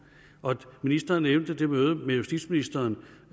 ministeren nævnte mødet med justitsministeren